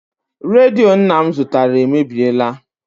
Redio nna m zụtara emebiela.